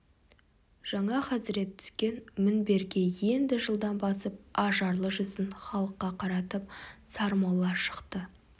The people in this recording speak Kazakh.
жаңа хазірет түскен мінберге енді жылдам басып ажарлы жүзін халыққа қаратып сармолла шықты